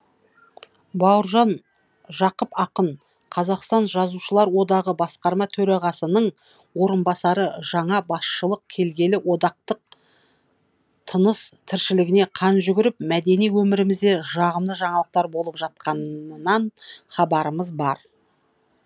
бауыржан жақып ақын қазақстан жазушылар одағы басқарма төрағасының орынбасары жаңа басшылық келгелі одақтың тыныс тіршілігіне қан жүгіріп мәдени өмірімізде жағымды жаңалықтар болып жатқанынан хабарымыз бар